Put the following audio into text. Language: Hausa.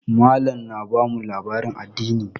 Mallam na bamu labarin addini.